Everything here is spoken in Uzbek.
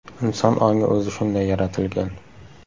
Inson ongi o‘zi shunday yaratilgan.